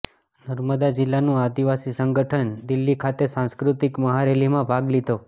નર્મદા જિલ્લાનું આદિવાસી સંગઠન દિલ્હી ખાતે સાંસ્કૃતિક મહારેલીમાં ભાગ લીધો